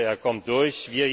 Ich hoffe, er kommt durch!